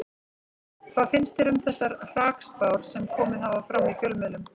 Hvað finnst þér um þessar hrakspár sem komið hafa fram í fjölmiðlum?